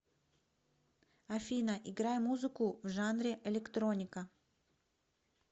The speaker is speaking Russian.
афина играй музыку в жанре электроника